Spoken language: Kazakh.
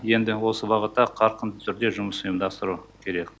енді осы бағытта қарқынды түрде жұмыс ұйымдастыру керек